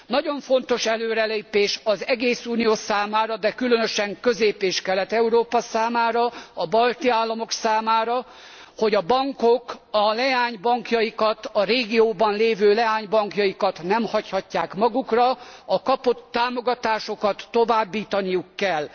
Nagyon fontos előrelépés az egész Unió számára, de különösen Közép és Kelet Európa számára, a balti államok számára, hogy a bankok a leánybankjaikat, a régióban lévő leánybankjaikat nem hagyhatják magukra, és a kapott támogatásokat továbbítaniuk kell.